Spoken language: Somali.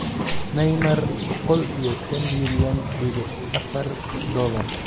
Neymar boqol iyo shan milyan dibic afar dolar